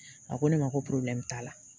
A ko ne ma ko t'a la